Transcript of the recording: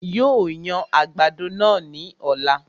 Yóò yan àgbàdo náà ní ọ̀la